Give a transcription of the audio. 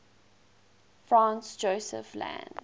franz josef land